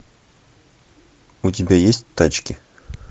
у тебя есть тачки